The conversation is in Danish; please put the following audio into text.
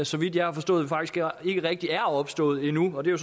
så vidt jeg har forstået faktisk ikke rigtig er opstået endnu og det er